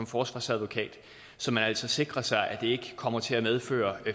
forsvarsadvokat så man altså sikrer sig at det ikke kommer til at medføre